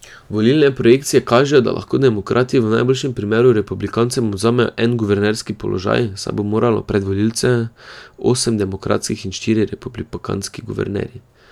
Volilne projekcije kažejo, da lahko demokrati v najboljšem primeru republikancem odvzamejo en guvernerski položaj, saj bo moralo pred volivce osem demokratskih in štirje republikanski guvernerji.